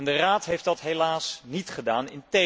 De Raad heeft dat helaas niet gedaan.